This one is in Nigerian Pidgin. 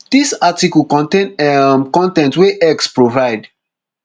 dis article contain um con ten t wey x provide